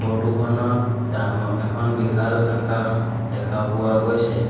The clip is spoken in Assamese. ফটো খনত ডাঙৰ এখন বিশাল আকাশ দেখা পোৱা গৈছে।